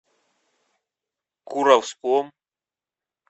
куровском